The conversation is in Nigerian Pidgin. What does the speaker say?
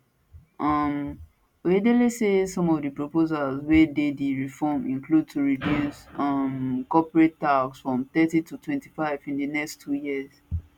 um oyedele say some of di proposals wey dey di reform include to reduce um corporate tax from thirty to 25 in di next 2 years